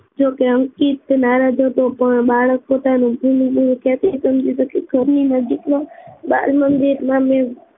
જોકે અંકિત નારાજ હતો પણ બાળક પોતાનું ઘરની નજીકમાં જ બાળ મંદિરમાં મેં